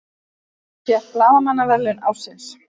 Fékk blaðamannaverðlaun ársins